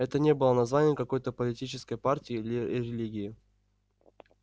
это не было названием какой-то политической партии или религии